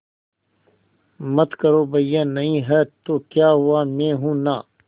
मत करो भैया नहीं हैं तो क्या हुआ मैं हूं ना